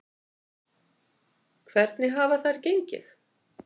Hvernig hafa þær gengið?